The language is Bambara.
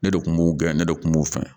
Ne de kun b'u gɛn ne de kun b'u fɛ